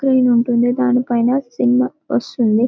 screen ఉంటుంది దాని పైన సినిమా వస్తుంది